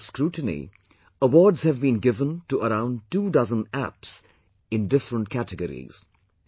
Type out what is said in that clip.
After a lot of scrutiny, awards have been given to around two dozen Apps in different categories